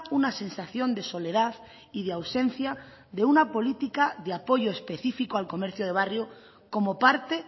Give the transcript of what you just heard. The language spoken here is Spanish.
una sensación de soledad y de ausencia de una política de apoyo específico al comercio de barrio como parte